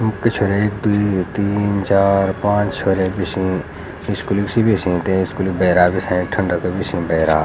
पिछौर्य एक द्वि तीन चार पांच छ हौर एक बिछई स्कूली सि.बि.ऐस.ई. तै स्कूलि म बैराग भी से ठंडक बि सी भैरा।